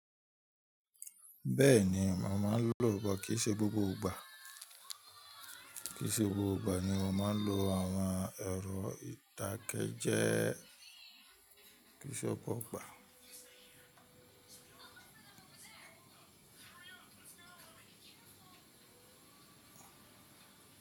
Bẹ́ẹ̀ni, mo máa lo but kii ṣẹ́ gbogbo ìgbà. Kí se gbogbo ìgbà ni mo máa ń lo àwọn ẹ̀rọ ìdakejee ki í se gbogbo igba.